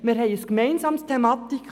Wir haben eine gemeinsame Thematik;